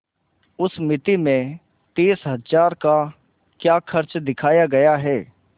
उस मिती में तीस हजार का क्या खर्च दिखाया गया है